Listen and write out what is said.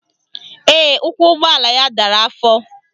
Ee, ụkwụ ụgbọala ya dara afọ